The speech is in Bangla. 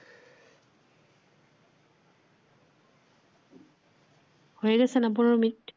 হয়ে গেছে না বড় মিট